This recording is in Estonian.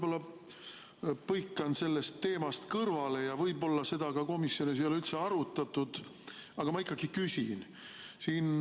Ma põikan teemast kõrvale ja võib-olla ei ole seda ka üldse komisjonis arutatud, aga ma ikkagi küsin.